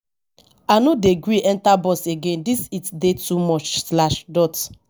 i no dey gree enta bus again dis heat dey too much.